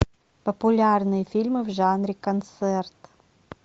популярные фильмы в жанре концерт